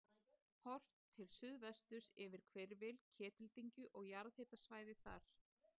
Horft til suðvesturs yfir hvirfil Ketildyngju og jarðhitasvæðið þar.